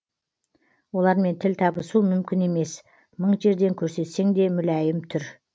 олармен тіл табысу мүмкін емес мың жерден көрсетсең де мүләйім түр